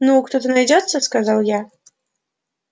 ну кто-то найдётся сказал я